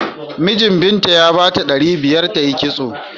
Minjin Binta ya bata naira ɗari biyar ta yi kitso.